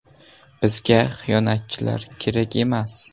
Bizga xiyonatchilar kerak emas.